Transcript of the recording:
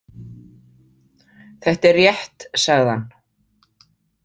Þetta er rétt, sagði hann.